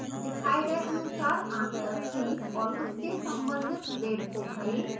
दिखाए गए अनुसार answer 3 और उसके संबंधित grade को भरें